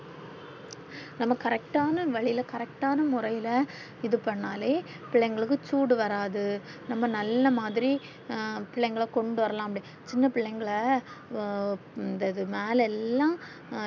நம்ப correct ன்னா வழில correct முறையிலே இது பண்ணாலே பிள்ளைகளுக்கு சூடு வராது நம்ம நல்ல மாதிரி ஹம் பிள்ளைகள் கொண்டு வரலாம் சின்ன பிள்ளைகள ந்த வந்து மேல எல்லாம்